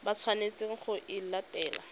ba tshwanetseng go e latela